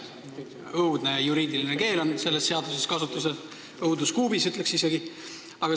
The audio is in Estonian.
Õudne juriidiline keel on selles seaduses kasutusel, õudus kuubis, ütleks isegi!